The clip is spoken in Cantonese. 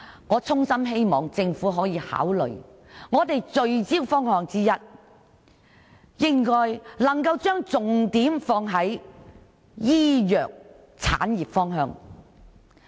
我衷心希望政府考慮聚焦的方向之一，是把重點放在醫藥產業方面。